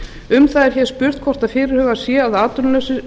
um það er spurt hvort fyrirhugað sé að atvinnulausir